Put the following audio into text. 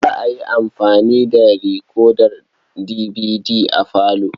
Za a yi amfani da rikodar dibidi a falo.